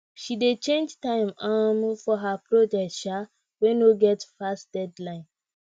she dey change time um for her project um wey no get fast deadline